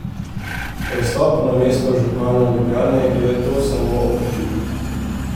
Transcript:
Prestop na mesto župana Ljubljane je to samo okrepil.